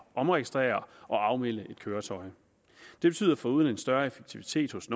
omregistrere og afmelde et køretøj det betyder foruden en større effektivitet hos